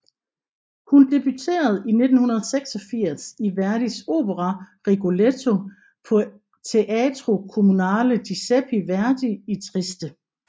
Hun debuterede i 1986 i Verdis opera Rigoletto på Teatro Comunale Giuseppe Verdi i Trieste